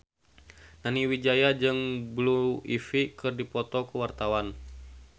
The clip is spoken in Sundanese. Nani Wijaya jeung Blue Ivy keur dipoto ku wartawan